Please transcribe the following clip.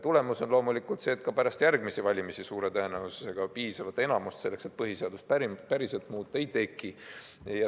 Tulemus on loomulikult see, et ka pärast järgmisi valimisi piisavat enamust selleks, et põhiseadust päriselt muuta, suure tõenäosusega ei teki.